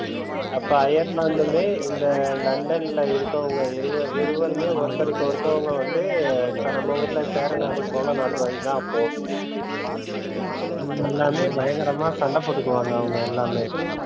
அப்போ அயர்லாந்துனு இந்த லண்டன்ல இருக்கவங்க இருவருமே ஒருத்தவங்க ஒருத்தவங்க வந்து இப்போ நம்ம ஊருல சேரநாடு கொலை நடந்ததுல அப்போ எல்லாருமே பயங்கரமா சண்டை போட்டுக்குவாங்க அவங்க எல்லாமே,